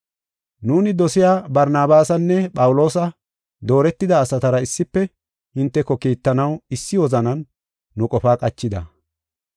Nuuni dosiya Barnabaasanne Phawuloosa dooretida asatara issife hinteko kiittanaw issi wozanan nu qofaa qachida.